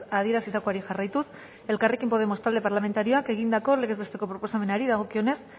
adierazitakoari jarraituz elkarrekin podemos talde parlamentarioak egindako legez besteko proposamenari dagokionez